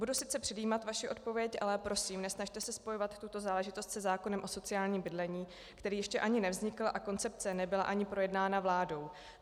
Budu sice předjímat vaši odpověď, ale prosím, nesnažte se spojovat tuto záležitost se zákonem o sociálním bydlení, který ještě ani nevznikl a koncepce nebyla ani projednána vládou.